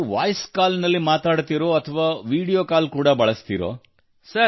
ನೀವು voice call ನಲ್ಲಿ ಮಾತನಾಡುತ್ತೀರೋ ಅಥವಾ ವಿಡಿಯೋ ಕಾಲ್ ಕೂಡಾ ಬಳಸುತ್ತೀರೋ